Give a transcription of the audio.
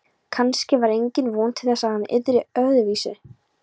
Kannske var engin von til þess að hann yrði öðruvísi